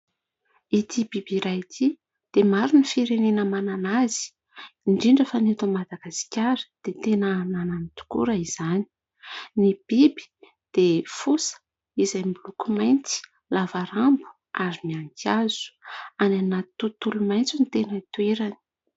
Ity biby iray ity dia maro ny firenena manana azy, indrindra fa eto Madagasikara dia tena ananany tokoa raha izany. Ny biby dia fosa izay miloko mainty lava rambo ary mihanika hazo, any anaty tontolo maitso no tena itoerany.